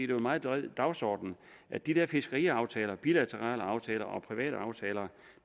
meget bred dagsorden at de der fiskeriaftaler bilaterale aftaler og private aftaler